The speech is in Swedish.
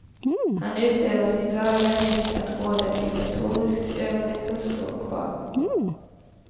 Han utövar sin lagliga rätt att råda diktatoriskt över hustru och barn.